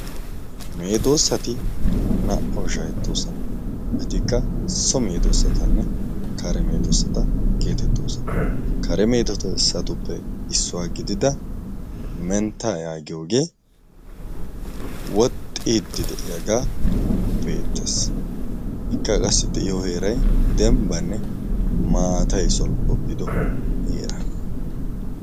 meedoossati naa"aw shahettoosana. etikka so meedoosatanne kare meedoossata geetettoosana kare meedossatuppe issuwaa gidida mentta yaagiyoogee woxxiiddi de'iyaagaa beettees. ekka qassi de'iyo heerai dembbanne maatay solppopido heeraa.